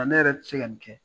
Ne yɛrɛ tɛ se ka nin kɛ.